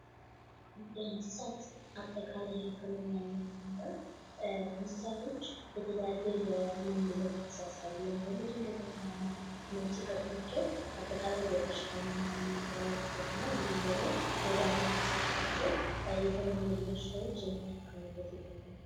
የእንሰሳት አጠቃላይ ህክምና የምንለው እንስሳቶች የተለያየ በሽታ ምልክት ሲያሳዩ ወይም ደግሞ ድንገተኛ ህመም ሲገጥማቸው አጠቃላይ የበሽታ ምርመራ ማድረግ እና እንዲሁም ደግሞ መድሀኒት ተሰጧቸው ከተለመዱ በሽታዎች የሚታከሙበት መንገድ ነው።